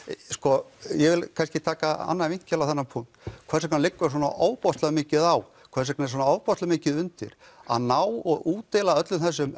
sko ég vil kannski taka annan vinkil á þennan punkt hvers vegna liggur svona ofboðslega mikið á hvers vegna er svona ofboðslega mikið undir að ná og útdeila öllum þessum